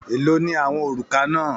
Èló ni àwọn òrùka náà?